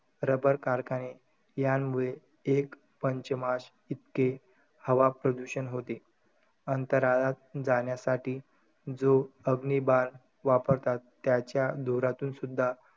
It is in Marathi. Rubber कारखाने यामुळे एकपंचमाश इतके हवा प्रदूषण होते. अंतराळात जाण्यासाठी जो अग्निबाण वापरतात त्याच्या धुरातूनसुध्दा,